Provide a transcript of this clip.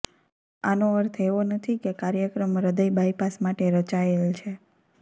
આનો અર્થ એવો નથી કે કાર્યક્રમ હૃદય બાયપાસ માટે રચાયેલ છે